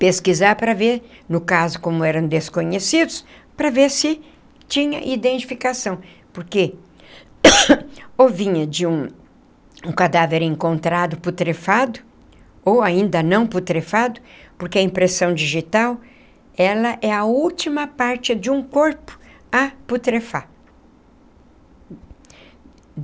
pesquisar para ver, no caso como eram desconhecidos, para ver se tinha identificação, porque ou vinha de um cadáver encontrado putrefato, ou ainda não putrefato, porque a impressão digital, ela é a última parte de um corpo a putrefar.